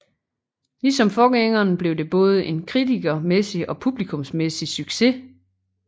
Ligesom forgængeren blev det både en kritikermæssig og publikumsmæssig succes